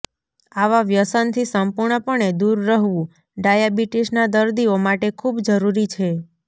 આવા વ્યસનથી સંપૂર્ણપણે દૂર રહવું ડાયાબિટીસના દર્દીઓ માટે ખૂબ જરૂરી છે